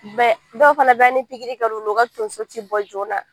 dɔw fana bɛ yen hali ni pikiri kɛlula u ka tonso ti bɔ joona.